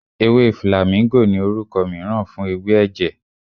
Ewé flàmíngò ni orúkọ mìíràn fún ewé ẹ̀jẹ̀.